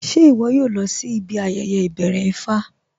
Ṣẹ iwọ̀ yóò lọ̀ sí ibi ayẹyẹ ibẹ̀rẹ̀ Ifá?